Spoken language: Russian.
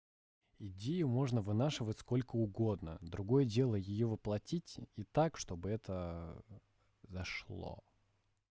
идею можно вынашивать сколько угодно другое дело её выплатить и так чтобы это зашло